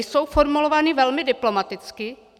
Jsou formulovány velmi diplomaticky.